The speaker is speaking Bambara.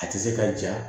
A tɛ se ka ja